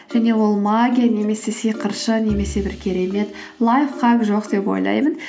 және ол магия немесе сиқыршы немесе бір керемет лайфхак жоқ деп ойлаймын